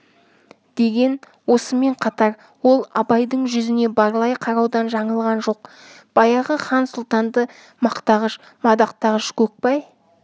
деген осымен қатар ол абайдың жүзіне барлай қараудан жаңылған жоқ баяғы хан сұлтанды мақтағыш мадақтағыш көкбай